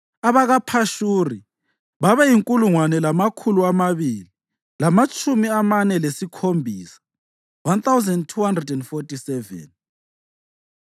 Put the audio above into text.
abakaPhashuri babeyinkulungwane lamakhulu amabili lamatshumi amane lasikhombisa (1,247),